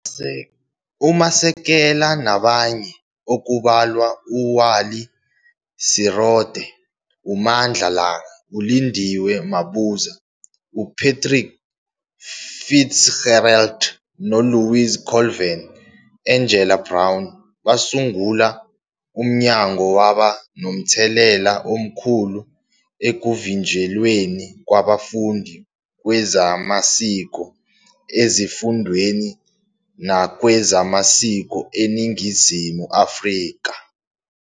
UMasekela nabanye, okubalwa uWally Serote, uMandla Langa, uLindiwe Mabuza, uPatrick Fitzgerald noLouise Colvin, Angela Brown, basungula umnyango, waba nomthelela omkhulu ekuvinjelweni kwabafundi kwezamasiko ezifundweni nakwezamasiko eNingizimu Afrika.